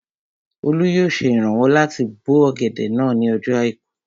Olú yóò ṣe ìrànwọ́ láti bó ọ̀gẹ̀dẹ̀ náà ní ọjọ́ àìkú